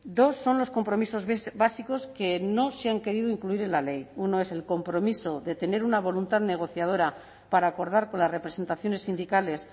dos son los compromisos básicos que no se han querido incluir en la ley uno es el compromiso de tener una voluntad negociadora para acordar con las representaciones sindicales